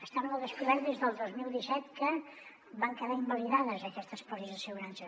estaven al descobert des del dos mil disset que van quedar invalidades aquestes pòlisses d’assegurança